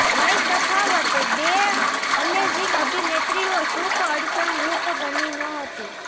વય તફાવત બે અમેઝિંગ અભિનેત્રીઓ સુખ અડચણરૂપ બની નહોતી